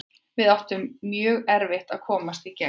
Við áttum mjög erfitt að komast í gegn.